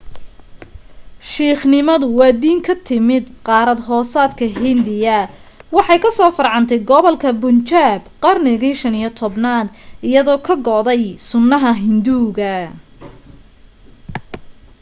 siikhnimadu waa diin ka timi qaarad hoosaadla hindiya waxay ka soo farcantay gobolka bunjaab qarnigii 15aad iyadoo ka go'day sunnaha hinduuga